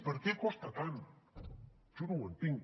per què costa tant jo no ho entenc